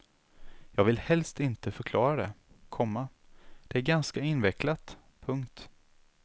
Jag vill helst inte förklara det, komma det är ganska invecklat. punkt